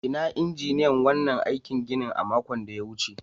Inna injiniyan wannan aikin ginin a makon da ta wuce?